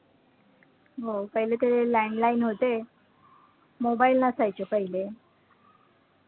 हो पहिले तर हे landline होते. mobile नसायचे पहिले.